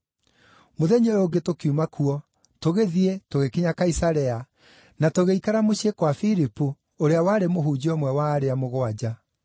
Mũthenya ũyũ ũngĩ tũkiuma kuo, tũgĩthiĩ, tũgĩkinya Kaisarea, na tũgĩikara mũciĩ kwa Filipu ũrĩa warĩ mũhunjia ũmwe wa arĩa Mũgwanja.